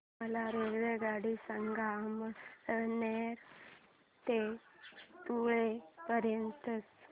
मला रेल्वेगाड्या सांगा अमळनेर ते धुळे पर्यंतच्या